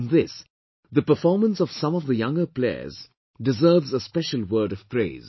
In this, the performance of some of the younger players deserves a special word of praise